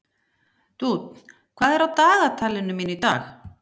Dúnn, hvað er á dagatalinu mínu í dag?